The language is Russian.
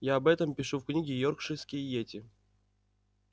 я об этом пишу в книге йоркширские йети